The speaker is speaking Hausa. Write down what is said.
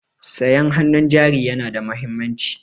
Sayan hannun jari yana da mahimmanci.